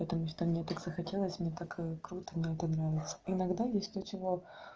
потому что мне захотелось мне так круто мне нравится иногда есть то чего